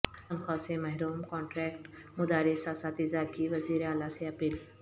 تنخواہ سے محروم کانٹریکٹ مدارس اساتذہ کی وزیر اعلی سے اپیل